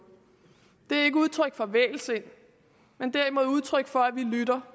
det er ikke udtryk for vægelsind men derimod udtryk for at vi lytter